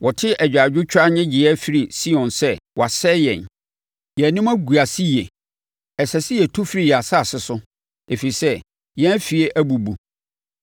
Wɔte agyaadwotwa nnyegyeeɛ firi Sion sɛ, ‘Wɔasɛe yɛn! Yɛn anim agu ase yie! Ɛsɛ sɛ yɛtu firi yɛn asase so ɛfiri sɛ, yɛn afie abubu.’ ”